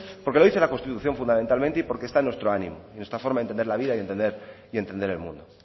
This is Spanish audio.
porque lo dice la constitución fundamentalmente y porque está en nuestro ánimo en nuestra forma de entender la vida y entender el mundo